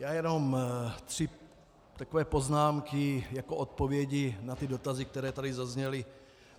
Já jenom chci takové poznámky jako odpovědi na ty dotazy, které tady zazněly.